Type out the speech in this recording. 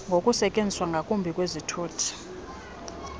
ngokusetyenziswa kakubi kwezithuthi